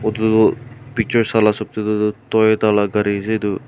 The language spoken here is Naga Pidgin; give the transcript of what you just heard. eto toh picture sai laga esap teh toh Toyota laga kari ase eto.